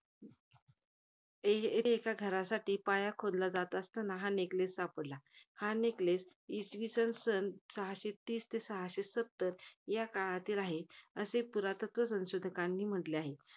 एक~ एका घरासाठी पाया खोदला जात असतांना हा neckless सापडला. हा neckless इसवीसन सन सहाशे तीस ते सहाशे सत्तर या काळातील आहे. असे पुरातत्व संशोधकांनी म्हंटले आहे.